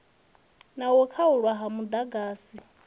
na u khaulwa ha muḓagasi